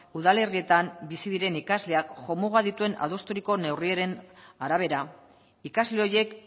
udalerrietan bizi diren ikasleak jomuga dituen adosturiko neurrien arabera ikasle horiek